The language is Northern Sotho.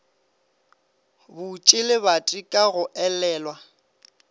butše lebati ka go elelwa